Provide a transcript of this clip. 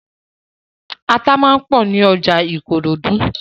Ata máa ń pọ̀ ní ọjà Ìkòròdú.